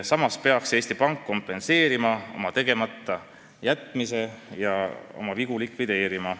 Samas peaks Eesti Pank kompenseerima oma tegematajätmise ja oma vigade tagajärgi likvideerima.